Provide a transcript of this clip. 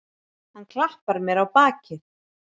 Hann klappar mér á bakið.